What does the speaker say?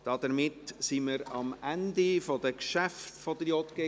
Wir sind am Ende der Geschäfte der JGK angelangt.